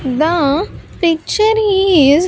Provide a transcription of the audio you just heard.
The picture is --